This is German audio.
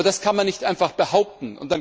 Aber das kann man nicht einfach behaupten.